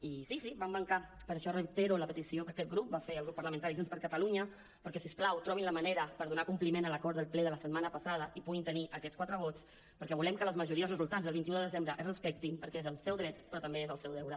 i sí sí hi van mancar per això reitero la petició que aquest grup va fer al grup parlamentaris junts per catalunya perquè si us plau trobin la manera per donar compliment a l’acord del ple de la setmana passada i puguin tenir aquests quatre vots perquè volem que les majories resultants el vint un de desembre es respectin perquè és el seu dret però també és el seu deure